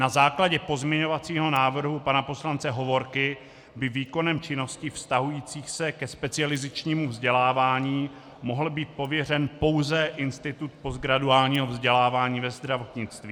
Na základě pozměňovacího návrhu pana poslance Hovorky by výkonem činností vztahujících se ke specializačnímu vzdělávání mohl být pověřen pouze Institut postgraduálního vzdělávání ve zdravotnictví.